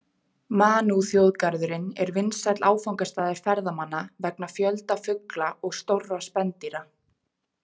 Manuþjóðgarðurinn er vinsæll áfangastaður ferðamanna vegna fjölda fugla og stórra spendýra.